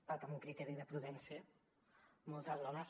perquè amb un criteri de prudència moltes dones